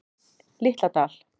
Litla Dal